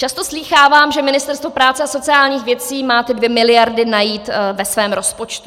Často slýchávám, že Ministerstvo práce a sociálních věcí má ty 2 miliardy najít ve svém rozpočtu.